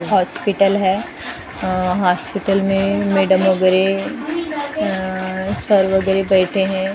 Hospital है अ hospital में मैडम वगैरह अ सर वगैरह बैठे हैं ।